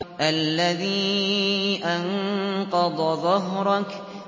الَّذِي أَنقَضَ ظَهْرَكَ